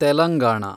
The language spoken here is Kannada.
ತೆಲಂಗಾಣ